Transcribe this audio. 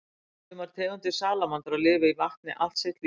sumar tegundir salamandra lifa í vatni allt sitt líf